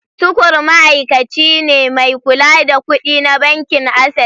Tukur ma’aikaci ne mai kula da kudi na bankin Access.